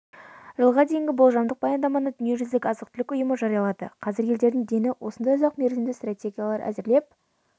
жылға дейінгі болжамдық баяндаманы дүниежүзілік азық-түлік ұйымы жариялады қазір елдердің дені осындай ұзақ мерзімді стратегиялар әзірлеп